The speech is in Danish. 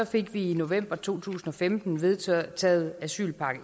fik vi i november to tusind og femten vedtaget asylpakke